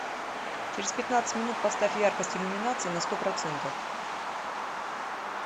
через пятнадцать минут поставь яркость иллюминации на сто процентов